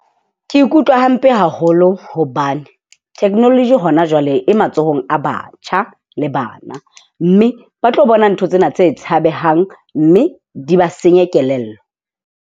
Ke ikutlwa hampe haholo hobane technology hona jwale e matsohong a batjha le bana. Mme ba tlo bona ntho tsena tse tshabehang mme di ba senye kelello.